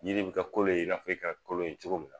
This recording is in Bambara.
Jiri bɛ kɛ kolon ye i n'a f'e kɛra kolon ye cogo min na.